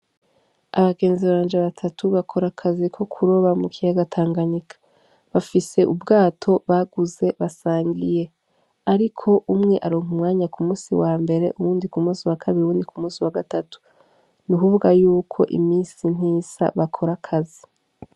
Abagenzi banje batatu bakorakazi ko kuroba mu kiyaga tanganyika bafise ubwato baguze basangiye, ariko umwe aronka umwanya ku musi wa mbere uwundi ku musi wa kabiri uyundi ku musi wa gatatu ni ukuvuga yuko imisi ntisa bakorakazi.